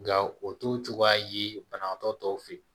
Nka o to cogoya ye banabaatɔ tɔw fɛ